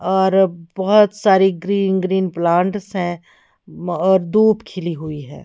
और बहुत सारी ग्रीन ग्रीन प्लांट्स है और धूप खिली हुई है।